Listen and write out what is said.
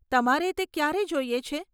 તમારે તે ક્યારે જોઈએ છે?